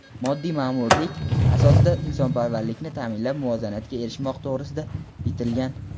moddiy maʼmurlik asosida insonparvarlikni taʼminlab muvozanatga erishmoq to‘g‘risida bitilgan.